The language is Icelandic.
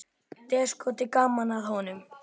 Déskoti gaman að honum.